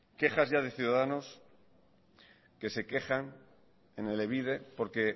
quejas de ciudadanos que se quejan en elebide porque